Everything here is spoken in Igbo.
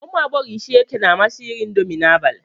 Ụmụ agbọghọ Ishieke na-amasị iri indomi n'abalị.